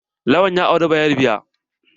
Lawan ya auri bayarba.